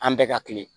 An bɛɛ ka kile